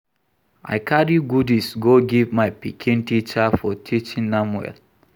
I carry goodies go give my pikin teacher for teaching am well